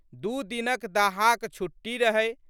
दू दिनक दाहाक छुट्टी रहै।